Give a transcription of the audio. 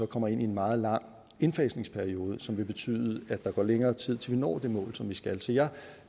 kommer ind i en meget lang indfasningsperiode som vil betyde at der går længere tid til vi når det mål som vi skal så jeg